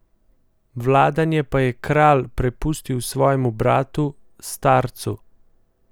Vladanje pa je kralj prepustil svojemu bratu, starcu.